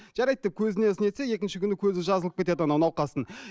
жарайды деп көзіне нетсе екінші күні көзі жазылып кетеді анау науқастың